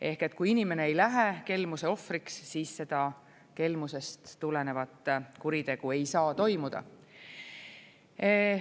Ehk kui inimene ei lähe kelmuse ohvriks, siis seda kelmustest tulenevat kuritegu ei saa toimuda.